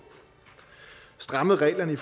strammet reglerne i